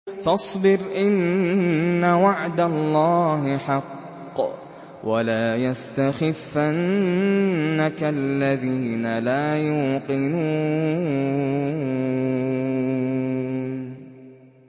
فَاصْبِرْ إِنَّ وَعْدَ اللَّهِ حَقٌّ ۖ وَلَا يَسْتَخِفَّنَّكَ الَّذِينَ لَا يُوقِنُونَ